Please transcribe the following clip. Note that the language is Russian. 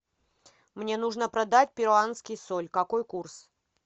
мне нужно продать перуанский соль какой курс